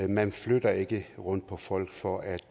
man flytter ikke rundt på folk for at